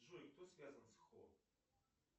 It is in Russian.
джой кто связан с хо